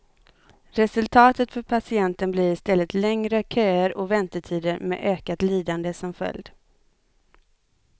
Resultatet för patienten blir istället längre köer och väntetider med ökat lidande som följd.